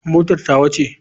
Motar tawa ce.